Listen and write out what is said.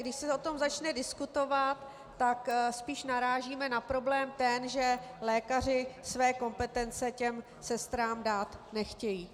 Když se o tom začne diskutovat, tak spíše narážíme na problém ten, že lékaři své kompetence těm sestrám dát nechtějí.